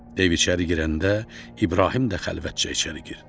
Dev içəri girəndə, İbrahim də xəlvətcə içəri girdi.